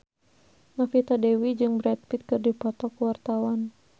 Novita Dewi jeung Brad Pitt keur dipoto ku wartawan